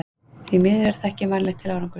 Því miður er það ekki vænlegt til árangurs.